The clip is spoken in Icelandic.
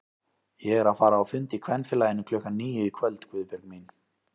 Ég er að fara á fund í Kvenfélaginu klukkan níu í kvöld Guðbjörg mín